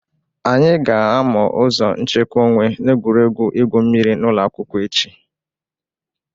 Anyị ga-amụ ụzọ nchekwa onwe n'egwuregwu igwu mmịrị n'ụlọakwụkwọ echi.